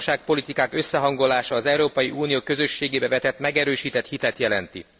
A gazdaságpolitikák összehangolása az Európai Unió közösségébe vetett megerősített hitet jelenti.